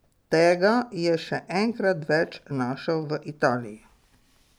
Tega je še enkrat več našel v Italiji.